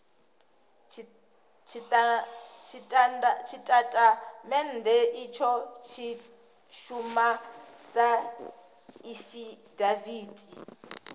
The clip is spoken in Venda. tshitatamennde itsho tshi shuma sa afidaviti